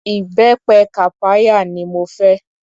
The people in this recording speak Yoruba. Ìbẹpẹ kàpáyà ni mo fẹ́.